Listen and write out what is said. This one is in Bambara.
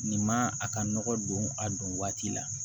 Nin man a ka nɔgɔ don a don waati la